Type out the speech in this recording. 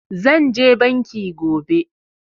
Zan je banki gobe